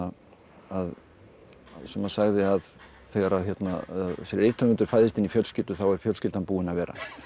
að sagði að þegar að rithöfundur fæðist inn í fjölskyldu þá er fjölskyldan búin að vera